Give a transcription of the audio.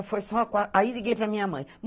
foi só. Aí liguei para a minha mãe.